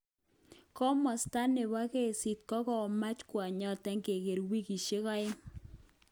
Komosta nebo kesit kokamach kwonyoton keger wikishek aeng.